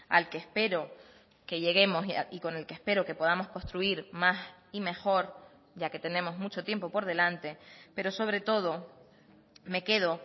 al que espero que lleguemos y con el que espero que podamos construir más y mejor ya que tenemos mucho tiempo por delante pero sobre todo me quedo